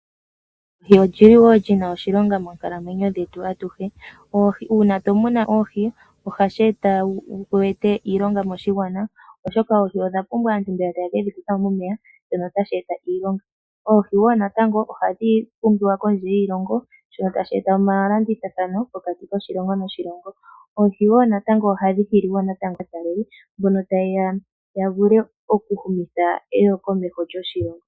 Oohi odhili woo dhina oshilonga monkalamwenyo yetu ayihe. Uuna tomunu oohi ohashi eta wu ete iilonga moshigwana oshoka oohi odhapumba aantu mbeya taye kedhi kutha momeya shono tashi eta iilonga . oohi woo natango ohadhi pumbiwa kondje yiilongo shono tashi eta omalandithilo pokati koshilongo noshilongo oohi woo natango ohadhi hili aataleli mbono tayeya vule oku humitha eyo komeho lyoshilongo.